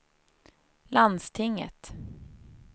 landstinget